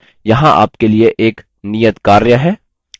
यहाँ आपके लिए एक नियतकार्य है